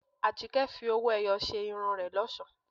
Àjíkẹ́ fi owó-ẹyọ ṣe irun rẹ̀ lọ́ṣọ̀ọ́.